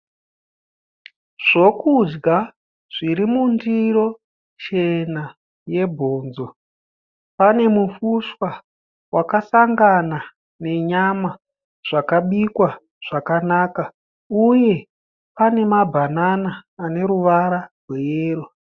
Zvokudya zviri mundiro chena yebhonzo pane mufushwa wakasangana nenyama zvakabikwa zvakanaka uye pane mabhanana ane ruvara rweyero.